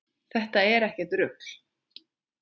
Þetta er ekkert rugl.